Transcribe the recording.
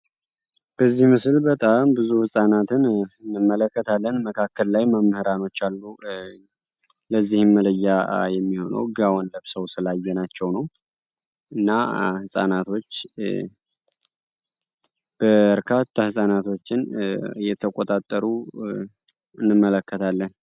በዚህ ምስል በጣም ብዙ ህጻናትን እንመለከታለን። መካከል ላይም መምህራኖች አሉ። ለዚህም መለያ የሚሆነው ጋወን ለብሰው ስላየናቸው ነው። እና በርካታ ህጻናቶችን እየተቆጣጠሩ እንመለከታለን።